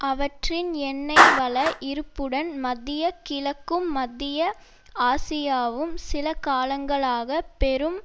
அவற்றின் எண்ணெய் வள இருப்புடன் மத்திய கிழக்கும் மத்திய ஆசியாவும் சில காலங்களாக பெரும்